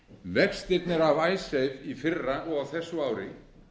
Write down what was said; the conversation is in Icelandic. vextirnir af icesave í fyrra og á þessu ári